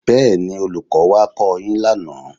Bẹ́ẹ̀ni, Olùkọ́ wá kọ́ ọ yín lánàá